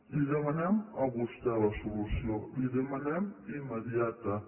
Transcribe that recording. la hi demanem a vostè la solució la hi demanem immediatament